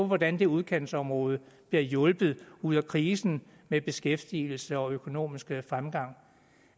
hvordan det udkantsområde bliver hjulpet ud af krisen med beskæftigelse og økonomisk fremgang